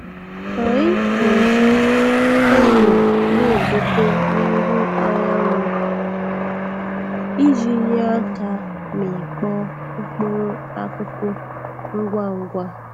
Anyi.na-eji enyo na-edote n'ihu anyanwụ iji nye aka mịkpọọ mkpụrụ akụkụ ngwa ngwa.